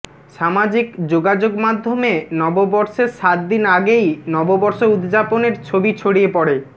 সামাজিক যোগাযোগ মাধ্যমে নববর্ষের সাত দিন আগেই নববর্ষ উদযাপনের ছবি ছড়িয়ে পড়ে